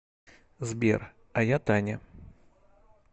сбер а я таня